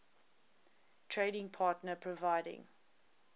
trading partner providing